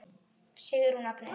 Sigrún Agnes.